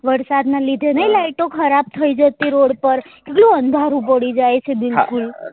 વરસાદ ના લીધે નહી light ઓ ખરાબ થઇ જતી રોડ પર કેટલું અંધારું પડી જાય છે બિલકુલ